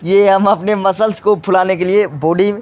ये हम अपने मसल्स को फुलाने के लिए बॉडी --